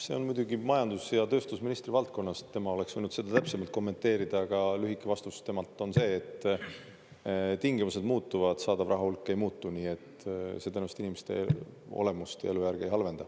See on muidugi majandus- ja tööstusministri valdkonnast, tema oleks võinud seda täpsemalt kommenteerida, aga lühike vastus temalt on see, et tingimused muutuvad, saadav rahahulk ei muutu, nii et see tõenäoliselt inimeste olemust ja elujärge ei halvenda.